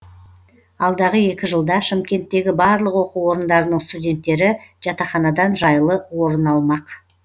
алдағы екі жылда шымкенттегі барлық оқу орындарының студенттері жатақханадан жайлы орын алмақ